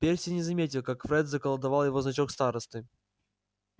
перси не заметил как фред заколдовал его значок старосты